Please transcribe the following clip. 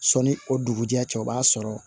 Sɔni o dugujɛ cɛ o b'a sɔrɔ